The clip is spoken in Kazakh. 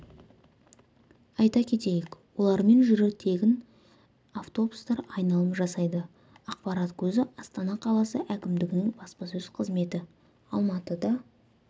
айта кетейік олармен жүрі тегін автобустар айналым жасайды ақпарат көзі астана қаласы әкімдігінің баспасөз қызметі алматыда